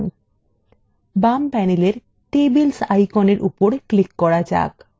বাম panel tables আইকনের উপর click করা যাক